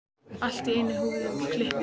Allt í einu er húfunni kippt af henni!